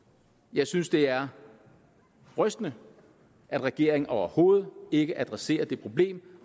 jeg synes det er rystende at regeringen overhovedet ikke adresserer det problem